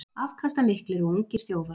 Afkastamiklir og ungir þjófar